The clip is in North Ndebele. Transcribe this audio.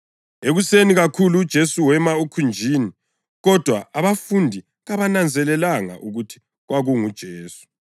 Ekuseni kakhulu uJesu wema ekhunjini kodwa abafundi kabananzelelanga ukuthi kwakunguJesu.